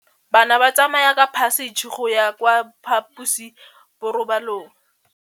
Bana ba tsamaya ka phašitshe go ya kwa phaposiborobalong.